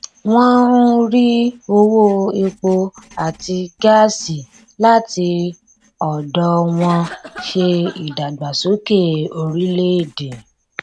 wọn ń rí owó epo àti gáàsí láti ọdọ wọn ṣe ìdàgbàsókè orílẹèdè